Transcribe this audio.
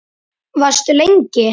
Varstu lengi?